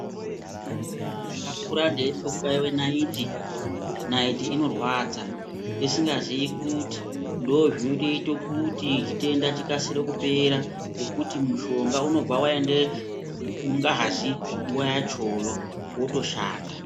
Ndakakura ndeitye kubaiwe nayiti, nayiti inorwadza. Ndisingaziyi kuti ndozvinotoite kuti chitenda chikasire kupera, ngekuti mushonga unobva waende mungazi nguwa yachoyo, wotoshanda.